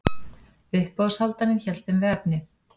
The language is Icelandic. Uppboðshaldarinn hélt þeim við efnið.